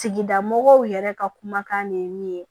Tigilamɔgɔw yɛrɛ ka kumakan de ye